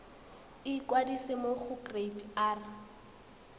ikwadisa mo go kereite r